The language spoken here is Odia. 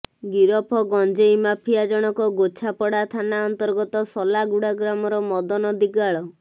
ଗିରଫ ଗଞ୍ଜେଇ ମାଫିଆ ଜଣକ ଗୋଛାପଡା ଥାନା ଅନ୍ତର୍ଗତ ସଲାଗୁଡ଼ା ଗ୍ରାମର ମଦନ ଦିଗାଳ